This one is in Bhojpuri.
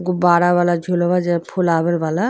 गुब्बारा वाला झूलवा जे ह फुलावेल वाला।